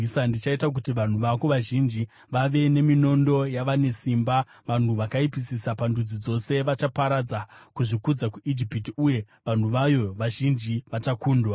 Ndichaita kuti vanhu vako vazhinji vawe nokuda kweminondo yavane simba, vanhu vakaipisisa pandudzi dzose. Vachaparadza kuzvikudza kweIjipiti, uye vanhu vayo vazhinji vachakundwa.